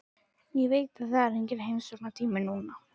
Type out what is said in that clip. Ég veit að það er enginn heimsóknartími núna.